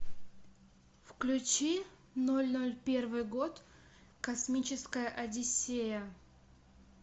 включи ноль ноль первый год космическая одиссея